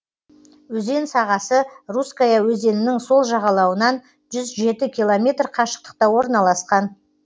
өзен сағасы русская өзенінің сол жағалауынан жүз жеті километр қашықтықта орналасқан